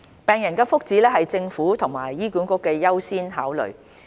病人的福祉是政府和醫管局的優先考慮。